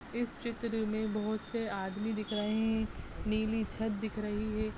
इस चित्र में बहुत से आदमी दिख रहें है नीली छत दिख रही है।